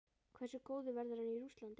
Hversu góður verður hann í Rússlandi?